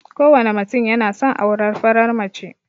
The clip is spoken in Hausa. Kowane mutum yana son aurar farar mace.